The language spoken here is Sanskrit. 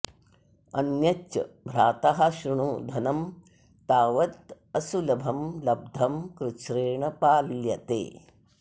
अन्यच्च भ्रातः शृणु धनं तावदसुलभं लब्धं कृच्छ्रेण पाल्यते